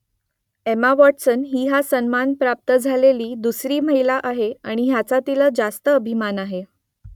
Emma Watson ही हा सन्मान प्राप्त झालेली दुसरी महिला आहे आणि याचा तिला रास्त अभिमान आहे